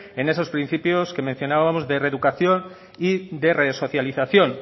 en esos principios que mencionábamos de reeducación y de resocialización